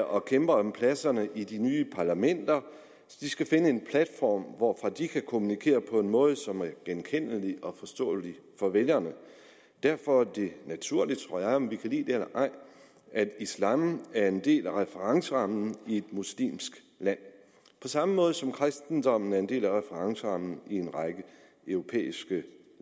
og kæmper om pladserne i de nye parlamenter skal finde en platform hvorfra de kan kommunikere på en måde som er genkendelig og forståelig for vælgerne derfor er det naturligt tror jeg om vi kan lide det eller ej at islam er en del af referencerammen i et muslimsk land på samme måde som kristendommen er en del af referencerammen i en række europæiske